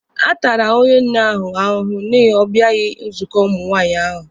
A tara onye nne ahụ ahụhụ n'ihi ọ bịaghị nzukọ ụmụ nwaanyị ahụ.